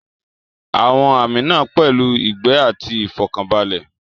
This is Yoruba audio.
Àwọn àmì náà pẹ̀lú ìgbẹ́ àti ìfọ̀kànbalẹ̀.